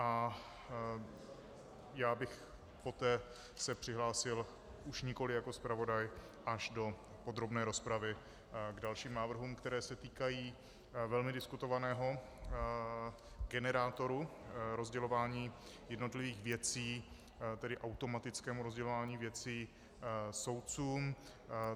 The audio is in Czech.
A já bych poté se přihlásil už nikoliv jako zpravodaj až do podrobné rozpravy k dalším návrhům, které se týkají velmi diskutovaného generátoru rozdělování jednotlivých věcí, tedy automatickému rozdělování věcí soudcům.